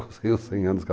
100 anos